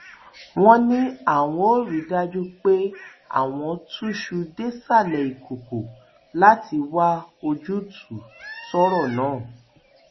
wọn ní àwọn ò rí i dájú pé àwọn túṣu désàlẹ ìkọkọ láti wá ojútùú sọrọ náà